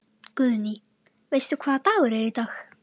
Guðný: Veistu hvaða dagur er í dag?